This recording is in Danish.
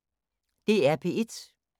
DR P1